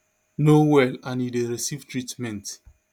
no well and e dey receive treatment